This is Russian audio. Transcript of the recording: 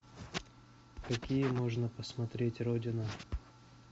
какие можно посмотреть родина